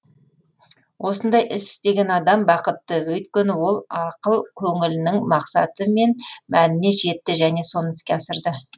осындай іс істеген адам бақытты өйткені ол ақыл көңілінің мақсаты мен мәніне жетті және соны іске асырды